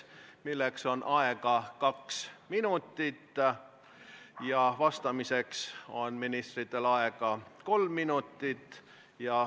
Küsimuse esitamiseks on aega kaks minutit, vastamiseks on ministritel aega kolm minutit.